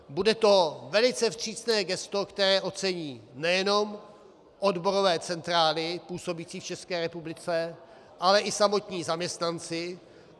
Bude to velice vstřícné gesto, které ocení nejenom odborové centrály působící v České republice, ale i samotní zaměstnanci.